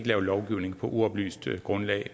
lave lovgivning på uoplyst grundlag